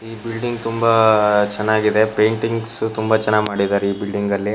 ಈ ಬಿಲ್ಡಿಂಗ್ ತುಂಬಾ ಚೆನ್ನಾಗಿದೆ ಪೈಂಟಿಂಗ್ಸ್ ತುಂಬಾ ಚೆನ್ನಾಗಿ ಮಾಡಿದ್ದಾರೆ ಈ ಬಿಲ್ಡಿಂಗ್ ನಲ್ಲಿ --